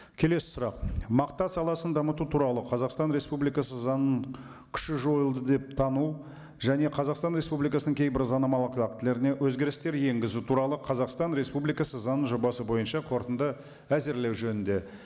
келесі сұрақ мақта саласын дамыту туралы қазақстан республикасы заңының күші жойылды деп тану және қазақстан республикасының кейбір заңнамалық актілеріне өзгерістер енгізу туралы қазақстан республикасы заң жобасы бойынша қорытынды әзірлеу жөнінде